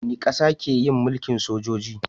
Wani ƙasa ke yin mulkin sojoji